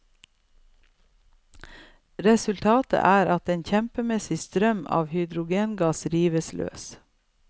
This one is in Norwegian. Resultatet er at en kjempemessig strøm av hydrogengass rives løs.